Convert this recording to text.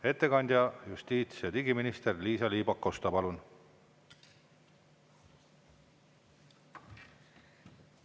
Ettekandja justiits- ja digiminister Liisa-Ly Pakosta, palun!